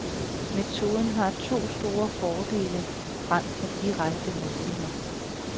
Metoden har to store fordele frem for direkte målinger.